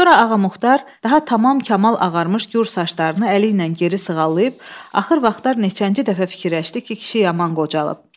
Sonra Ağamuxatar daha tamam kamal ağarmış gur saçlarını əli ilə geri sığallayıb axır vaxtlar neçənci dəfə fikirləşdi ki, kişi yaman qocalıb.